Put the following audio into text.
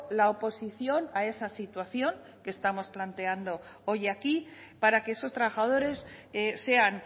la oposición a esa situación que estamos planteando hoy aquí para que esos trabajadores sean